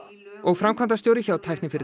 og framkvæmdastjóri hjá